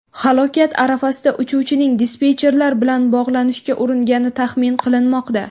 Halokat arafasida uchuvchining dispetcherlar bilan bog‘lanishga uringani taxmin qilinmoqda.